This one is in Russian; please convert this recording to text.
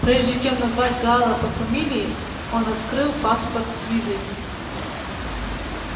прежде чем назвать гаала по фамилии он открыл паспорт с визой